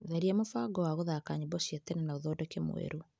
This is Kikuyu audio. Tharia mũbango wa gũthaka nyĩmbo cia tene na ũthondeke mwerũ.